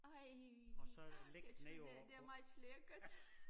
Ej jeg tror det det er meget lækkert